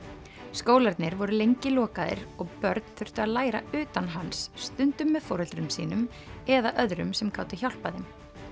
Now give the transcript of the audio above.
skólarnir voru lengi lokaðir og börn þurftu að læra utan hans stundum með foreldrum sínum eða öðrum sem gátu hjálpað þeim